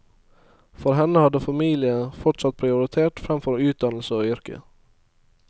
For henne hadde familie fortsatt prioritet fremfor utdannelse og yrke.